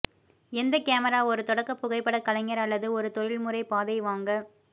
எந்த கேமரா ஒரு தொடக்க புகைப்படக் கலைஞர் அல்லது ஒரு தொழில்முறை பாதை வாங்க